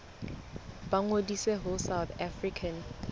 ba ngodise ho south african